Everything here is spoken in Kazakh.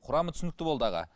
құрамы түсінікті болды аға